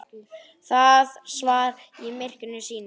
Það svaf í myrkri sínu.